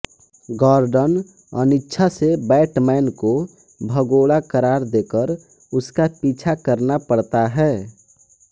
Gordon अनिच्छा से Batman को भगोड़ा करार देकर उसका पीछा करना पड़ता है